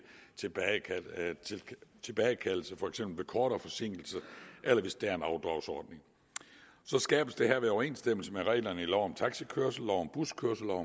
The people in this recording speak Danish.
tilbagekaldelse for eksempel ved kortere forsinkelser eller hvis der er en afdragsordning der skabes herved overensstemmelse med reglerne i lov om taxikørsel lov om buskørsel og